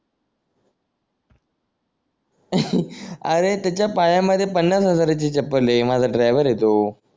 अरे त्याच्या पायामधे पन्नास हजाराची चप्पल आहे माझा ड्रायव्हर आहे तो